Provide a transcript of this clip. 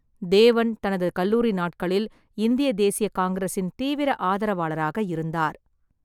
தேவன் தனது கல்லூரி நாட்களில் இந்திய தேசிய காங்கிரசின் தீவிர ஆதரவாளராக இருந்தார்.